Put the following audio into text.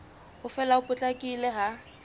ho fela ho potlakileng ha